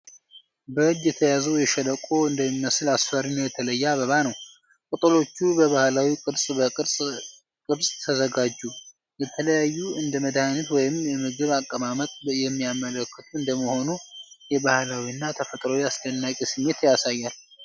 በእጅ የተያዘው የሸለቆ እንደሚመስል አስፈሪ እና የተለየ አበባ ነው። ቅጠሎች በባህላዊ ቅርጽ በቅርጽ ቅርጽ ተዘጋጁ። የተለያዩ እንደ መድሃኒት ወይም የምግብ አቀማመጥ የሚያመለከቱ እንደሚሆኑ የባህላዊ እና የተፈጥሮ አስደናቂ ስሜት ያሳያል።